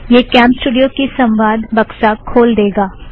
यह कॅमस्टूड़ियो की संवाद बक्सा खोल देगा